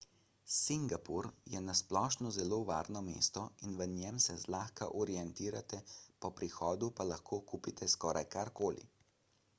singapur je na splošno zelo varno mesto in v njem se zlahka orientirate po prihodu pa lahko kupite skoraj karkoli